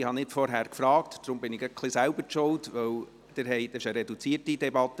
Es ist eine reduzierte Debatte.